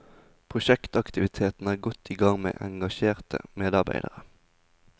Prosjektaktivitetene er godt igang med engasjerte medarbeidere.